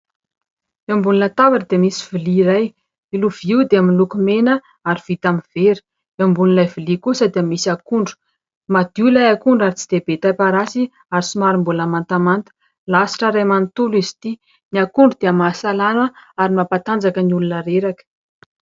Eo ambony latabatra dia misy lovia iray. Io lovia io dia miloko mena ary vita amin'ny vera. Eo ambonin'ilay lovia kosa dia misy akondro. Madio ilay akondro ary tsy dia be tay parasy ary somary mbola mantamanta, lasitra iray manontolo izy ity. Ny akondro dia mahasalama ary mampatanjaka ny olona reraka.